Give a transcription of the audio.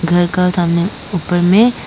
घर का सामने ऊपर में--